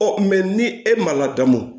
ni e ma ladamu